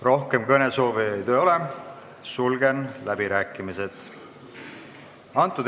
Rohkem kõnesoovijaid ei ole, sulgen läbirääkimised.